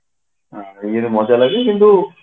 ଇଏ ରେ ମଜା ଲାଗେ କିନ୍ତୁ